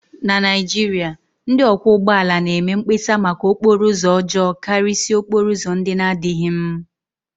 na Naijiria, ndị ọkwọ ụgbọala na-eme mkpesa maka okporo ụzọ ọjọọ karịsịa okporo ụzọ ndị na-adịghị mm